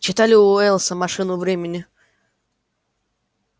читали у уэллса машину времени